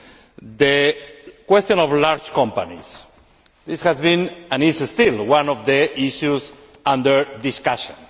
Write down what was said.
On the question of large companies this has been, and is still, one of the issues under discussion.